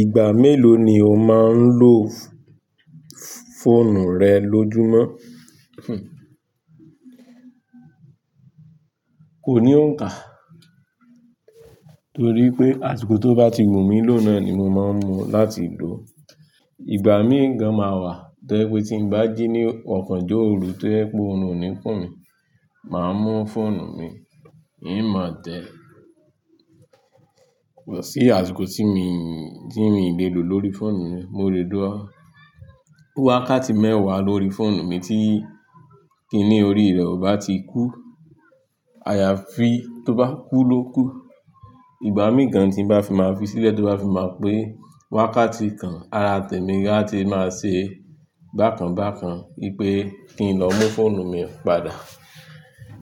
Ìgbà mélòó ni o máa ń lo fóònù rẹ lójúmọ́? Kò ní òǹkà, torí pé àsìkò tó bá ti wù mí ló nàa ni mo máa ń mú láti lò. Ìgbà míì gan máa wà, tó jẹ́ pé tí ń bá jí ní ọ̀kanjọ òru tó jẹ́ pé òrun ò ní kùn mí, màá mú fóònù mi, n máa tẹ́. Kò sí àsìkò tí mi, tí mi le lo lórí fóònù mi, mo lè dá wákàtí mẹ́wàá lórí fóònù mi tí kíní orí rẹ̀ ò bá ti kú. Àyàfi tó bá kú lókù, ìgbà míì gan tí n bá fi máa fi sílẹ̀ tó bá fi máa pé wákàtí kan, ara tèmi gan a ti máa ṣe bákan bákan wípé kí n lọ mú fóònù mi padà.